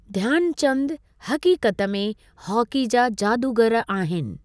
ध्यानचंद हकीकत में हॉकी जा जादूगर आहिनि।